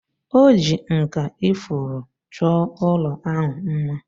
O ji nkà ifuru chọọ ụlọ ahụ mma